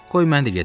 Qoy mən də gedim.